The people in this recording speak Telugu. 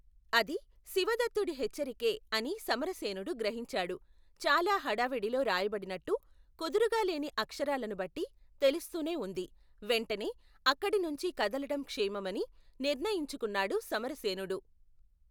అది, శివదత్తుడి హెచ్చరికే అని సమరసేనుడు గ్రహించాడు, చాలా హడావిడిలో రాయబడినట్టు, కుదురుగా లేని అక్షరాలను బట్టి, తెలుస్తూనే వుంది, వెంటనే, అక్కడి నుంచి కదలటం క్షేమమని, నిర్ణయించుకున్నాడు, సమరసేనుడు.